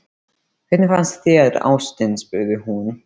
Hvernig fannst þér, ástin? spurði hún.